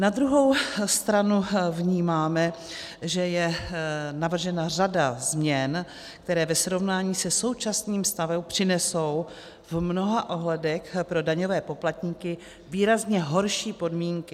Na druhou stranu vnímáme, že je navržena řada změn, které ve srovnání se současným stavem přinesou v mnoha ohledech pro daňové poplatníky výrazně horší podmínky.